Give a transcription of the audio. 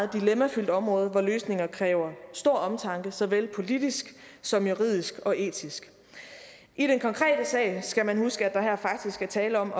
dilemmafyldt område hvor løsninger kræver stor omtanke såvel politisk som juridisk og etisk i den konkrete sag skal man huske at der her faktisk er tale om